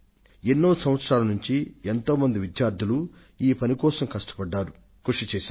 గడచిన ఎన్నో సంవత్సరాల నుండి పలువురు విద్యార్థులు ఈ ప్రాజెక్టు కోసం వారి వంతుగా శ్రమించారు